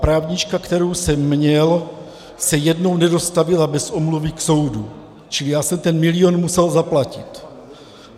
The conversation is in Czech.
Právnička, kterou jsem měl, se jednou nedostavila bez omluvy k soudu, čili já jsem ten milion musel zaplatit.